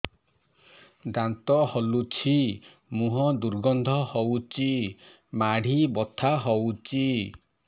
ଦାନ୍ତ ହଲୁଛି ମୁହଁ ଦୁର୍ଗନ୍ଧ ହଉଚି ମାଢି ବଥା ହଉଚି